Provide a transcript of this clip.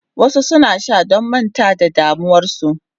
Wasu suna sha don manta da damuwarsu.